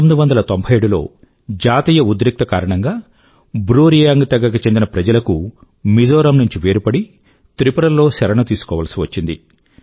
1997లో జాతీయ ఉద్రిక్తత కారణంగా బ్రూ రియాంగ్ తెగ కు చెందిన ప్రజల కు మిజోరమ్ నుండి వేరుపడి త్రిపుర లో శరణు తీసుకోవాల్సివచ్చింది